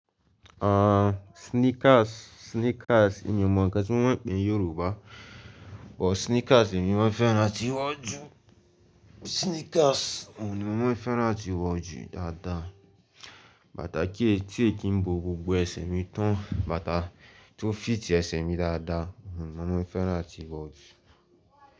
Ah! Sneakers, sneakers èmi ò mọ ǹkan tí wọ́n ń pè é ní Yorùbá, but sneakers èmi máa ń fẹ́ràn láti wọ̀ jù. Sneakers o ni mo máa ń fẹ́ràn áti wọ̀ jù dáadáa. Bàtà ti o kí ń bo gbogbo ẹsẹ̀ mi tán, bàtà tó fit ẹsẹ̀ mi dáadáa oun ni mo máa ń fẹ́ràn láti wọ̀ jù.